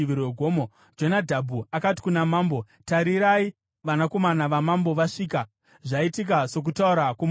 Jonadhabhu akati kuna Mambo, “Tarirai, vanakomana vamambo vasvika; zvaitika sokutaura kwomuranda wenyu.”